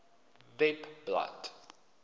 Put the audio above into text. webblad